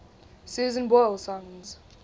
susan boyle songs